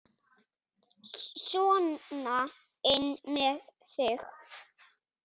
Sona inn með þig!